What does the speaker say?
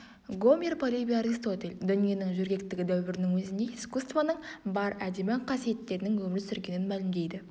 гомер полибий аристотель дүниенің жөргектегі дәуірінің өзінде искусствоның бар әдемі қасиеттерінің өмір сүргенін мәлімдейді